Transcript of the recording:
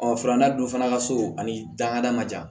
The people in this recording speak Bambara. filanan dun fana ka so ani dankada man jan